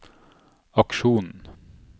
aksjonen